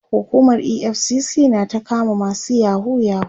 hukumar EFCC na ta kama masu yahoo yahoo